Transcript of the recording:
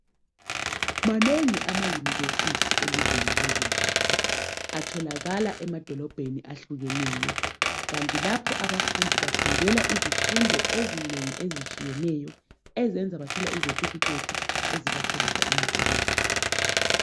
Manengi amayunivesithi elizweni leZimbabwe. Atholakala emabholobheni ehlukeneyo. Kanti kulapho abafundi bafundela izifundo ezinengi ezitshiyeneyo ezenza bathole izethifikhethi ezibatholisa imisebenzi.